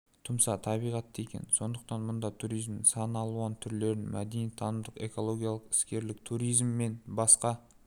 тұмса табиғатты екенін сондықтан мұнда туризмнің сан алуан түрлерін мәдени-танымдық экологиялық іскерлік туризм мен басқа